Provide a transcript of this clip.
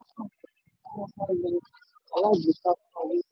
ìwúlò rẹ̀ kò ní jámọ́ ǹkankan tí wọ́n bá lo alágbèéká fún owó.